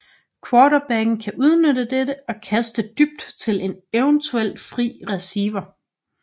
Quarterbacken kan udnytte dette og kaste dybt til en eventuelt fri receiver